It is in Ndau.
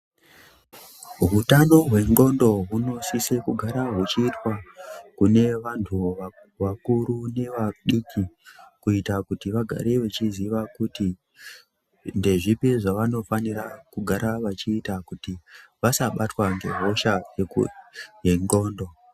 Hutano hwe ndxondo hunosisa kuramba huchiitwa kune vantu vakuru nevadiki, kuita kuti vagare vachiziva kuti ndezvipi zvavanofanira kugara vachiita kuti vasabatwa ngehosha yendxondo.